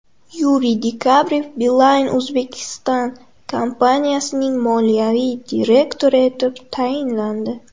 Yuriy Dekabrev Beeline Uzbekistan kompaniyasining moliyaviy direktori etib tayinlandi .